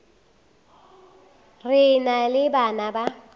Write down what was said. re na le bana ba